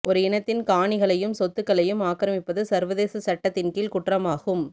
ஒரு இனத்தின் காணிகளையும் சொத்துக்களையும் ஆக்கிரமிப்பது சர்வதேச சட்டத்தின் கீழ் குற்றமாகும்